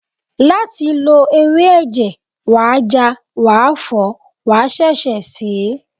Láti lo ewé ẹ̀jẹ̀, wàá ja, wàá fọ̀ọ́, wàá ṣẹ̀ṣẹ̀ sèé